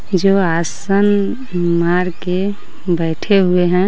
जो आसन मारके बैठे हुए हैं।